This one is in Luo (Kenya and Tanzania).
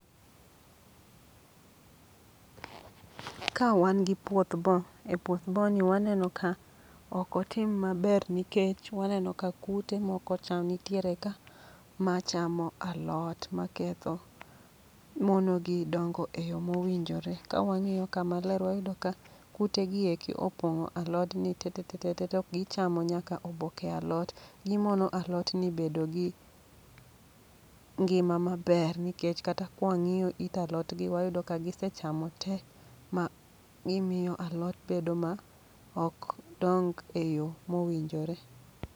Kao wan gi puoth bo, e puoth bo ni waneno ka okotim maber nikech waneno ka kute moko chal nitiere ka machamo alot. Ma ketho, mono gi dongo e yo mowinjore. Kawang'iyo ka maler wayudo ka kute gi eki opong'o alodni te te te te, gichamo nyaka oboke alot. Gimono alotni bedo gi ngima maber, nikech kata kwang'iyo it alotgi wayudo ka gisechamo te ma gimiyo alot bedo ma ok dong e yo mowinjore.